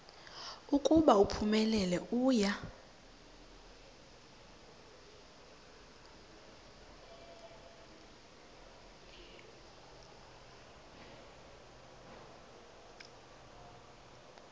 ukuba uphumelele uya